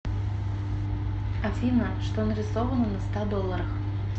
афина что нарисовано на ста долларах